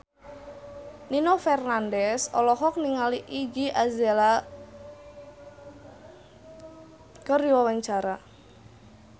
Nino Fernandez olohok ningali Iggy Azalea keur diwawancara